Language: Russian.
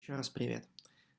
ещё раз привет